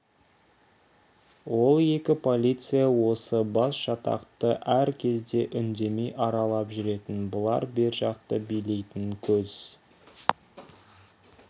ол екі полиция осы басжатақты әр кезде үндемей аралап жүретін бұлар бер жақты билейтін көз